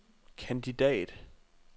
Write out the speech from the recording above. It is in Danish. kandidat